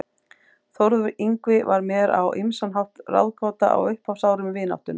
Þórður Yngvi var mér á ýmsan hátt ráðgáta á upphafsárum vináttunnar.